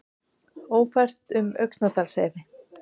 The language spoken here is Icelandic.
Ófært um Öxnadalsheiði